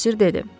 Bosir dedi.